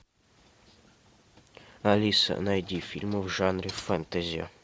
алиса найди фильмы в жанре фэнтези